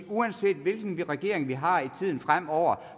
uanset hvilken regering vi har i tiden fremover